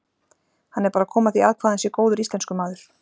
Hann er bara að koma því að hvað hann sé góður íslenskumaður.